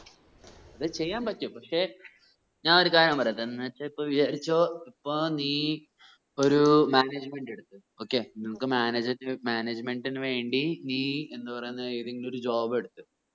അത് ചെയ്യാൻ പറ്റും പക്ഷെ ഞാൻ ഒരു കാര്യം പറയട്ടെ ഇപ്പോഎന്ന് വെച്ച വിചാരിച്ചോ ഇപ്പോ നീ ഒരു management എടുത്തു okay നമ്മക്ക് managemnt നു വേണ്ടി നീ എന്ത് പറയുന്നേ ഏതെങ്കിലും ഒരു job എടുത്തു